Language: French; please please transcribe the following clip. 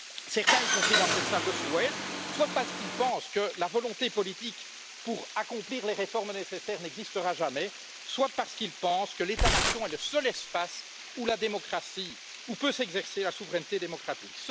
Certains, y compris dans cette salle, le souhaitent, soit parce qu'ils pensent que la volonté politique pour accomplir les réformes nécessaires n'existera jamais, soit parce qu'ils pensent que l'État nation est le seul espace où peut s'exercer la souveraineté démocratique.